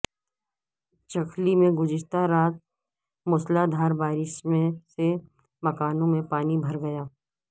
چکھلی میں گزشتہ رات مو سلا دھار بارش سے مکانوں میں پانی بھر گیا